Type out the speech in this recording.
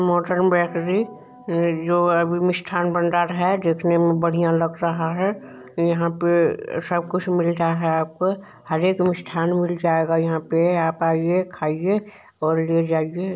Mottram bakery जो अभी मिष्ठान भंडार है देखने में बढ़िया लग रहा है यहां पे सब कुछ मिलता है आपको हर एक मिष्ठान मिल जाएगा यहां पे आप आइए खाइए और ले जाइए।